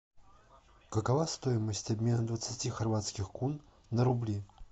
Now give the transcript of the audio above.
какова стоимость обмена двадцати хорватских кун на рубли